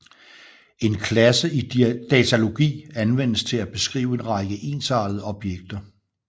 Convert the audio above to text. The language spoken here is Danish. En klasse i datalogi anvendes til at beskrive en række ensartede objekter